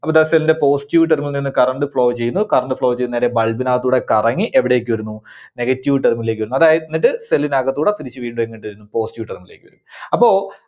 അപ്പോ ദാ Cell ന്റെ positive terminal ൽ നിന്ന് current flow ചെയ്യുന്നു. current flow ചെയ്ത് നേരെ bulb നകത്തുകൂടെ കറങ്ങി എവിടേക്ക് വരുന്നു? Negative terminal ലേക്ക് വരുന്നു. അത് എന്നിട്ട് cell ന് അകത്തൂടെ തിരിച്ച് വീണ്ടും എങ്ങോട്ട് വരുന്നു positive terminal ലേക്ക് വരുന്നു അപ്പോ